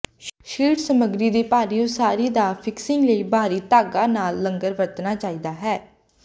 sheet ਸਮੱਗਰੀ ਦੀ ਭਾਰੀ ਉਸਾਰੀ ਦਾ ਫਿਕਸਿੰਗ ਲਈ ਬਾਹਰੀ ਧਾਗਾ ਨਾਲ ਲੰਗਰ ਵਰਤਣਾ ਚਾਹੀਦਾ ਹੈ